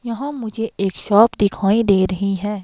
यहां मुझे एक शॉप दिखाई दे रही है.